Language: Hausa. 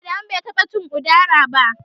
Adamu ban taɓa cin Udara ba.